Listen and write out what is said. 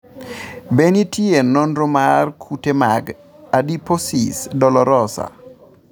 Be nitie nonro mar kute mag adiposis dolorosa?